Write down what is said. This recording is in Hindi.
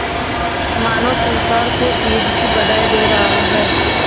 मानो संसार को ईद की बधाई दे रहा है